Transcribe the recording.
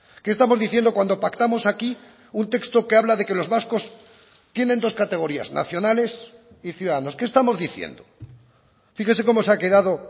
qué estamos diciendo cuando pactamos aquí un texto que habla de que los vascos tienen dos categorías nacionales y ciudadanos qué estamos diciendo fíjese como se ha quedado